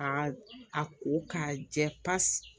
A a ko k'a jɛ pasi